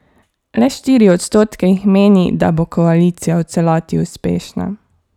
Le štiri odstotke jih meni, da bo koalicija v celoti uspešna.